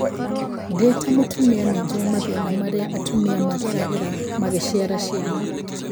Ndī ta mūtūmia nīnjue mathīna marīa atumia mageragīra magīciara ciana